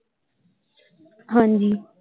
ਹਾਂਜੀ।